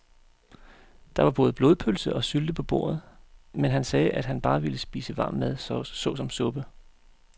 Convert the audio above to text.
Der var både blodpølse og sylte på bordet, men han sagde, at han bare ville spise varm mad såsom suppe.